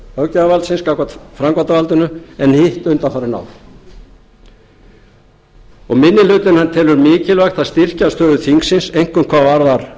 löggjafarvaldsins gegn framkvæmdarvaldinu en hitt undanfarin ár og minni hlutinn telur mikilvægt að styrkja stöðu þingsins einkum hvað varðar